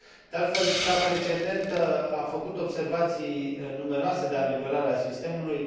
De altfel, cea precedentă a făcut observații numeroase de ameliorare a sistemului.